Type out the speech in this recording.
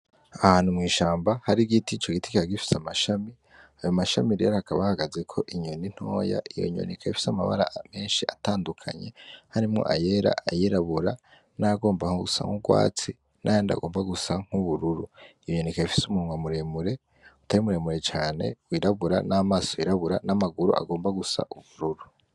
Ahantu mw'ishamba hari igiti co giti g agifise amashami ayo amashami reri hakabahagaze ko inyoni intoya iyo nyoneka yafise amabara amenshi atandukanye harimwo ayera ayirabura n'agomba nko gusa nk'urwatsi nayandi agomba gusa nk'ubururu iyonyoneka yafise umunw amuremure utari umuremure cane wirabura n'amaso yirabu bra n'amaguru agomba gusa ubururu.